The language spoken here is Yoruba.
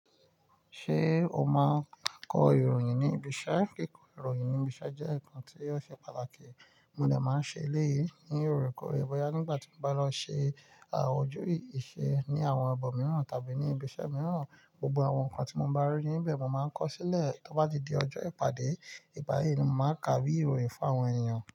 Ṣé o máa kọ ìròyìn ní ibi iṣẹ́? Kíkọ ìròyìn ní ibi iṣẹ́ jẹ́ ǹkan tí ó ṣe pàtàkì. Mo de máa n ṣe èlé yìí ní òrekoore bóyá nígbà tí mo bá lọ ṣe, à, ojú ìṣe ní àwọn ibo mìíràn tàbí ní ibi iṣẹ́ mìíràn, gbogbo àwọn ǹkan tí mo bá rí níbẹ̀ mo máa ń kọ sílẹ̀. Tó bá ti di ọjọ́ ìpàdé ìgbayi ni mo máa kà bí ìròyìn fún àwọn ènìyàn.